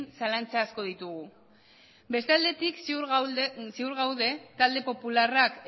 zalantza asko ditugu beste aldetik ziur gaude talde popularrak